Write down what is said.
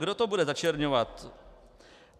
Kdo to bude začerňovat?